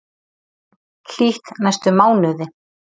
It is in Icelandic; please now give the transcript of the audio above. Hlýtt næstu mánuði